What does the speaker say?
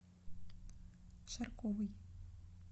шарковой